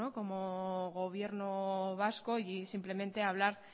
como gobierno vasco y simplemente hablar